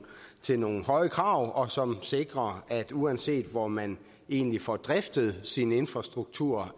til nogle høje krav og som sikrer at der uanset hvor man egentlig får driftet sin infrastruktur